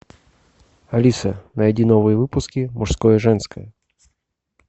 алиса найди новые выпуски мужское женское